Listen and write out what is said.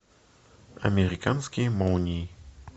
американские молнии